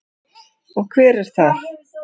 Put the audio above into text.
Og hver er það?